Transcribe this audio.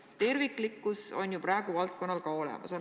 Terviklikkus on ju valdkonnas ka praegu olemas.